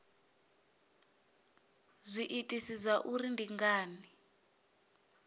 zwiitisi zwa uri ndi ngani